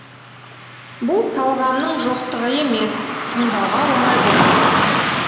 бұл талғамның жоқтығы емес тыңдауға оңай болғандықтан